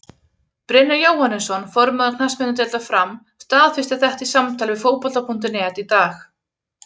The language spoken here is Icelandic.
Brynjar Jóhannesson, formaður knattspyrnudeildar Fram, staðfesti þetta í samtali við Fótbolta.net í dag.